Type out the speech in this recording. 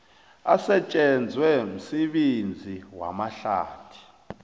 asetjenzwe msebenzi wamahlathi